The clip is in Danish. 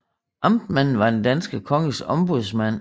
Amtmanden var den danske konges ombudsmand